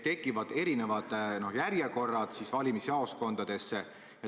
Valimisjaoskondades tekivad eri järjekorrad.